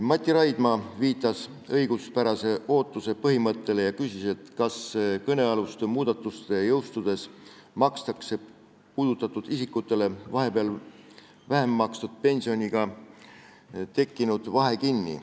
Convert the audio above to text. Mati Raidma viitas õiguspärase ootuse põhimõttele, küsides, kas kõnealuste muudatuste jõustudes makstakse puudutatud isikutele vahepeal vähem makstud pensioni tõttu tekkinud vahe kinni.